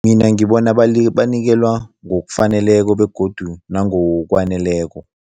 Mina ngibona banikelwa ngokufaneleko begodu nangokwaneleko.